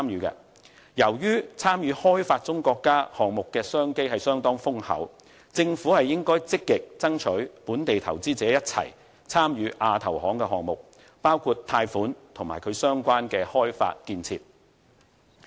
由於參與發展中國家項目的商機相當豐厚，政府應該積極爭取與本地投資者一起參與亞投行項目，包括貸款及其相關的開發建設。